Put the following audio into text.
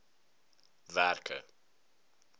werke